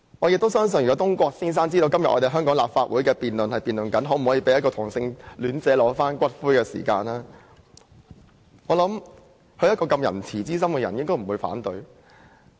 如果東郭先生知道香港的立法會今天辯論可否讓一位同性戀者領取其伴侶的骨灰，我相信懷着仁慈之心的他應不會反對。